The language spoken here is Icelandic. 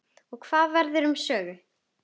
Og hvað verður um Sögu?